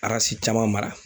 caman mara.